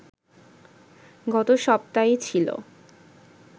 গত সপ্তায়ই ছিল